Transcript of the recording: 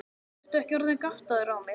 Ertu ekki orðinn gáttaður á mér.